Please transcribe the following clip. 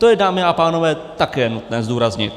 To je, dámy a pánové, také nutné zdůraznit.